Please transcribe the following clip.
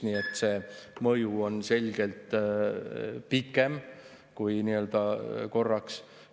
Nii et see mõju on selgelt pikem kui korraks.